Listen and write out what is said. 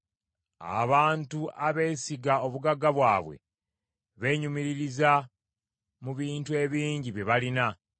abantu abeesiga obugagga bwabwe beenyumiririza mu bintu ebingi bye balina.